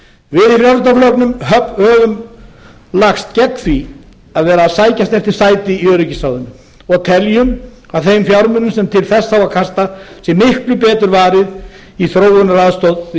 við í frjálsl höfum lagst gegn því að vera að sækjast eftir sæti í öryggisráðinu og teljum að þeim fjármunum sem til þess á að kasta sé miklu betur varið í þróunaraðstoð við